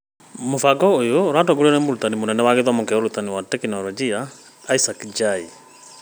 Mũbango ũyũ ũratongorio nĩ Mũtabarĩri Mũnene wa Gĩthomo na Ũrutani wa Tekinoronjĩ ĩsaac Njai.